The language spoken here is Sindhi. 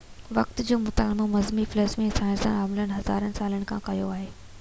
وقت جو مطالعو مذهبي فلسفي ۽ سائنسي عالمن هزارن سالن کان ڪيو آهي